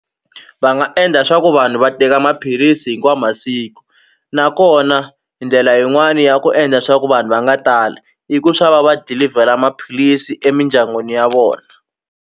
Va nga endla swa ku vanhu va teka maphilisi hinkwawu masiku nakona ndlela yin'wani ya ku endla swa ku vanhu va nga tali i ku swa va va dilivhela maphilisi emindyangwini ya vona.